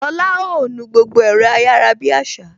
Lola ó nu gbogbo ẹ̀rọ ayarabiasa